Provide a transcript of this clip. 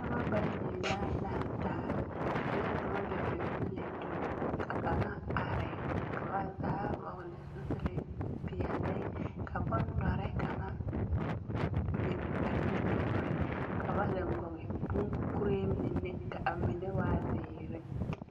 Noba bayi la lantaare, kaŋa dͻͻ la gyoŋgyoŋliŋgyo ka kaŋa are, ka ba zaa vͻgele zupile zu peԑle ka bondͻre kaŋa biŋ ba nimitͻͻre, ka zeŋe kͻge boŋkuree ka a mine waa zeere.